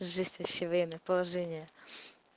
жесть вообще военное положение